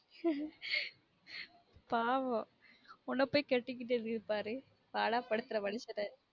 பாவோம் உன்ன போய் கட்டிகிட்டது பாரு பாடா படுத்துற மனுஷன